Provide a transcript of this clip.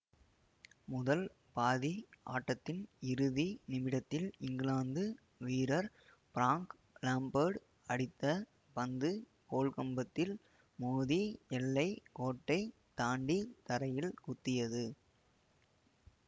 முதல் பாதி ஆட்டத்தின் இறுதி நிமிடத்தில் இங்கிலாந்து வீரர் பிராங்க் லேம்பர்டு அடித்த பந்து கோல்கம்பத்தில் மோதி எல்லை கோட்டை தாண்டி தரையில் குத்தியது